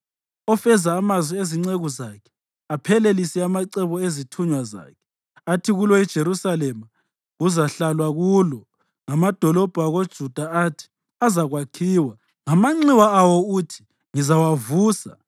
ofeza amazwi ezinceku zakhe aphelelise amacebo ezithunywa zakhe. Athi kulo iJerusalema, ‘Kuzahlalwa kulo,’ ngamadolobho akoJuda athi, ‘Azakwakhiwa.’ Ngamanxiwa awo uthi, ‘Ngizawavusa,’